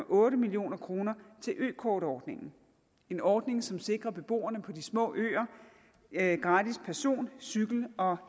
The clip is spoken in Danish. otte million kroner til økortordningen en ordning som sikrer beboerne på de små øer gratis person cykel og